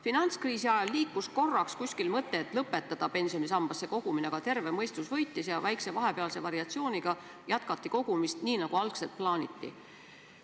Finantskriisi ajal liikus korraks kuskil mõte, et lõpetada pensionisambasse kogumine, aga terve mõistus võitis ja väikse vahepealse variatsiooniga jätkati kogumist nii, nagu algselt plaaniti.